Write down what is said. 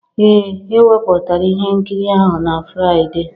Ee e wepụtara ihe nkiri ahụ na Fraịde